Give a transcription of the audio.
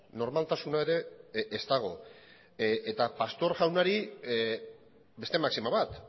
normaltasuna ere ez dago eta pastor jaunari beste maxima bat